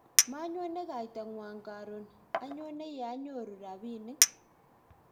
manyone kaitang'wong' karon, anyone ye anyoru robinik